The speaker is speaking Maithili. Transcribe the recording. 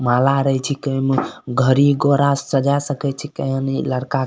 माला रई छी केन गाड़ी-घोड़ा सजा सकई छी केन ई लड़का --